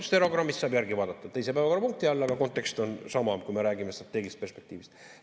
Stenogrammist saab järele vaadata, teise päevakorrapunkti all, aga kontekst on sama, kui me räägime strateegilisest perspektiivist.